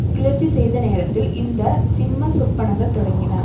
கிளர்ச்சி செய்த நேரத்தில் இந்த சிம்மசொப்பனங்கள் தொடங்கின